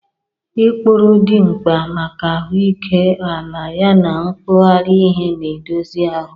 Ikpuru dị mkpa maka ahụike ala yana nwughari ihe na-edozi ahụ.